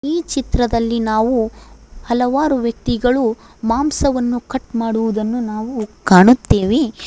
ಈ ಚಿತ್ರದಲ್ಲಿ ನಾವು ಹಲವಾರು ವ್ಯಕ್ತಿಗಳು ಮಾಂಸವನ್ನು ಕಟ್ ಮಾಡುವುದನ್ನು ನಾವು ಕಾಣುತ್ತೆವೆ.